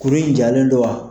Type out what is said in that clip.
Kurun in jalen don wa?